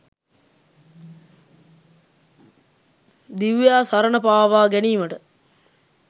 දිව්‍යා සරණපාවා ගැනීමට.